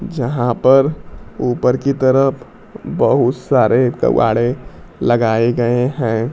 जहां पर ऊपर की तरफ बहुत सारे लगाए गए हैं।